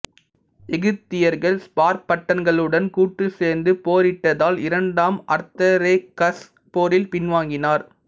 எகிப்தியர்கள் ஸ்பார்ட்டன்களுடன் கூட்டு சேர்ந்து போரிட்டதால் இரண்டாம் அர்தசெராக்சஸ் போரில் பின்வாங்கினார்